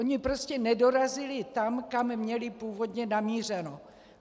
oni prostě nedorazili tam, kam měli původně namířeno.